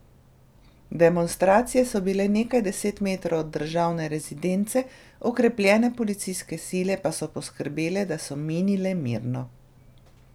Demonstracije so bile nekaj deset metrov od državne rezidence, okrepljene policijske sile pa so poskrbele, da so minile mirno.